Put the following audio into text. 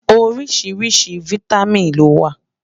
oríṣiríṣi fìtámín ló wà